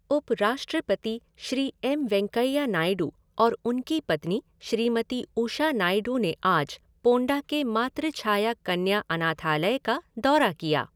उपराष्ट्रपति श्री एम वेंकैया नायडू और उनकी पत्नी श्रीमती उषा नायडू ने आज पोंडा के मातृछाया कन्या अनाथालय का दौरा किया।